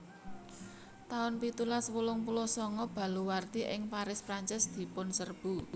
taun pitulas wolung puluh sanga Baluwarti ing Paris Prancis dipunserbu